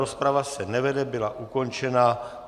Rozprava se nevede, byla ukončena.